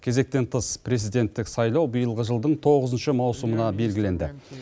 кезектен тыс президенттік сайлау биылғы жылдың тоғызыншы маусымына белгіленді